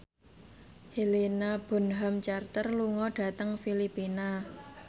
Helena Bonham Carter lunga dhateng Filipina